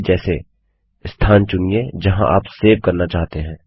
पहले जैसे स्थान चुनिए जहाँ आप सेव करना चाहते हैं